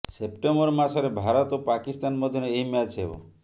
September ମାସରେ ଭାରତ ଓ ପାକିସ୍ତାନ ମଧ୍ୟରେ ଏହି ମ୍ୟାଚ୍ ହେବ